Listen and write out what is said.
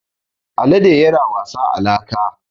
Alade yana wasa a laka.